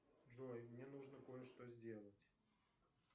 джой мне нужно кое что сделать